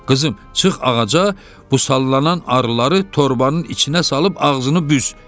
Qızım, çıx ağaca, bu sallanan arıları torbanın içinə salıb ağzını büz.